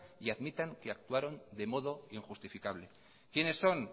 y admitan que actuaron de modo injustificables quiénes son